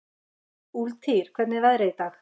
Úlftýr, hvernig er veðrið í dag?